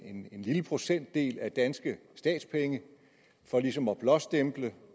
en lille procentdel danske statspenge for ligesom at blåstemple det